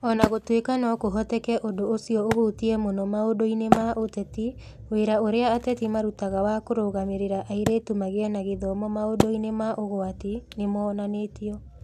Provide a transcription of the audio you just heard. O na gũtuĩka no kũhoteke ũndũ ũcio ũhutie mũno maũndũ-inĩ ma ũteti, wĩra ũrĩa ateti marutaga wa kũrũgamĩrĩra airĩtu magĩe na gĩthomo maũndũ-inĩ ma ũgwati nĩ wonanĩtio.